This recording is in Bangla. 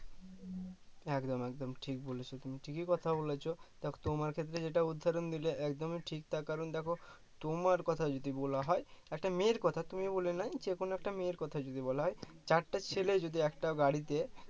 একদম একদম ঠিক বলেছো তুমি ঠিকই কথা বলেছো তা তোমার ক্ষেত্রে যেটা উদাহরণ দিলে একদম ঠিক তা কারণ দেখো তোমার কথা যদি বলা হয়, একটা মেয়ের কথা তুমি বলে নয় যে কোনো একটা মেয়ের কথা যদি বলা হয় চারটে ছেলে যদি একটা গাড়িতে